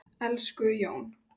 Elsku Jón.